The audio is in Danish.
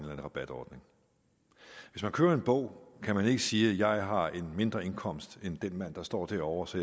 rabatordning hvis man køber en bog kan man ikke sige at har en mindre indkomst end den mand der står derovre så